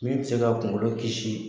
Min ti se ka kungolo kisi